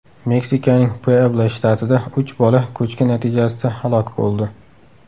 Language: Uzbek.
Meksikaning Puebla shtatida uch bola ko‘chki natijasida halok bo‘ldi.